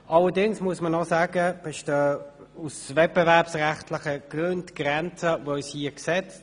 Allerdings sind uns aus wettbewerbsrechtlicher Sicht Grenzen gesetzt.